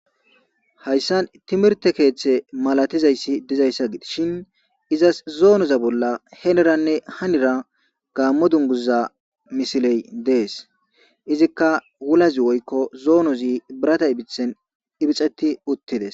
hayssan timirte keeththe malatizayssi dizayssa giishin izas zoonoza bolla heneranne hanira gaammo dunguza misiley dees izikka wulazi woykko zoonozi birata ibithen ibixeti uttides